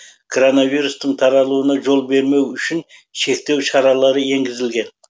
короновирустың таралуына жол бермес үшін шектеу шаралары еңгізілген